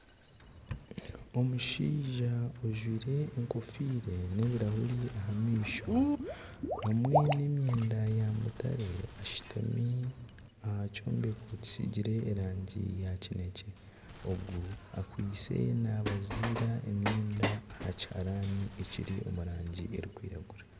Omushaija ojwaire enkofiira n'ebirahuri aha maisho hamwe n'emyenda ya mutare ashutami aha kyombeko kisiigire erangi ya kinekye. Ogu akwitse nabaziira emyenda aha kiharani ekiri omu rangi erikwiragura.